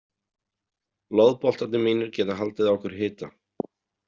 Loðboltarnir mínir geta haldið á ykkur hita.